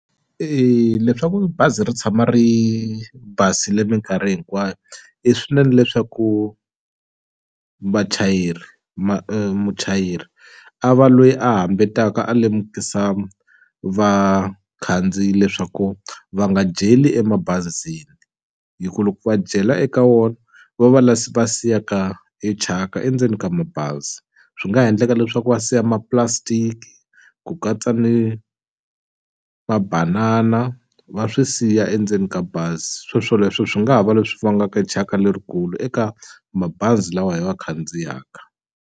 leswaku bazi ri tshama ri basile minkarhi hinkwayo i swinene leswaku vachayeri muchayeri a va loyi a hambi taka a lemukisa vakhandziyi leswaku va nga jeli emabazini hikuva loko va dyela eka wona va va la va siyaka e thyaka endzeni ka mabazi swi nga ha endleka leswaku va siya ma-plastic ku katsa ni mabanana va swi siya endzeni ka bazi swoswoleswo swi nga ha va leswi vangaka thyaka lerikulu eka mabazi lawa hi wa khandziyaka.